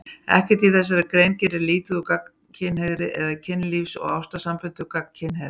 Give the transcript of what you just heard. Ekkert í þessari grein gerir lítið úr gagnkynhneigð eða kynlífs- og ástarsamböndum gagnkynhneigðra.